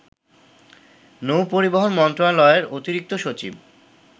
নৌ-পরিবহন মন্ত্রণালয়ের অতিরিক্ত সচিব